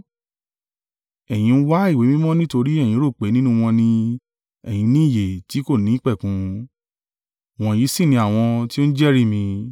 Ẹ̀yin ń wá ìwé mímọ́ nítorí ẹ̀yin rò pé nínú wọn ni ẹ̀yin ní ìyè tí kò nípẹ̀kun. Wọ̀nyí sì ni àwọn tí ó ń jẹ́rìí mi.